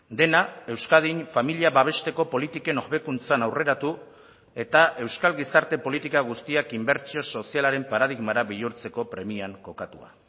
dena euskadin familia babesteko politiken hobekuntzan aurreratu eta euskal gizarte politika guztiak inbertsio sozialaren paradigmara bihurtzeko premian kokatua